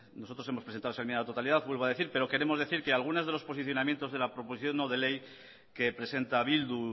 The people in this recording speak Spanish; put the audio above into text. nosotros hemos presentado esa enmienda de totalidad vuelvo a decir pero queremos decir que algunas de los posicionamientos de la proposición no de ley que presenta bildu